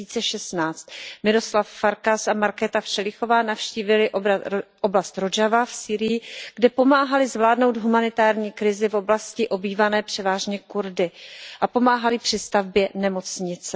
2016. Miroslav Farkas a Markéta Všelichová navštívili oblast Rodžava v Sýrii, kde pomáhali zvládnout humanitární krizi v oblasti obývané převážně Kurdy a pomáhali při stavbě nemocnice.